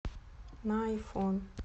на айфон